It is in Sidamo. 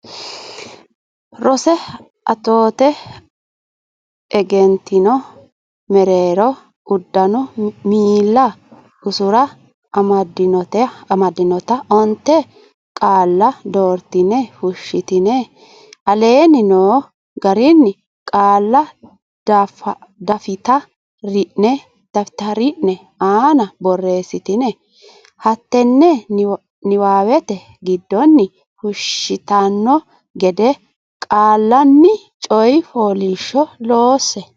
roso atoote egentino mereero uddano miilla usura amaddinota onte qaalla doortine fushshitine aleenni noo garinni qaalla dafta rine aana borreessitine hattenne niwaawete giddonni fushshitanno gede qaallanni coy fooliishsho loosse.